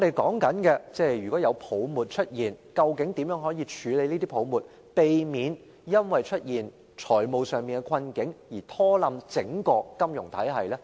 假如出現泡沫，究竟應如何處理，才可避免因出現財務困境而拖垮整個金融體系？